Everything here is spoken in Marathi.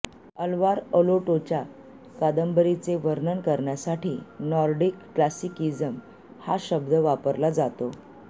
अल्वार अलोटोच्या कादंबरीचे वर्णन करण्यासाठी नॉर्डिक क्लासिकिझम हा शब्द वापरला जातो